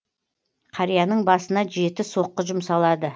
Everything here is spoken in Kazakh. қарияның басына жеті соққы жұмсалады